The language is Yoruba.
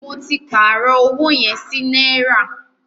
Mó tí pàárọ̀ ọwọ yẹn sí náírà.